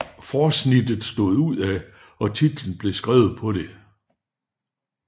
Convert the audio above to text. Forsnittet stod udad og titlen blev skrevet på det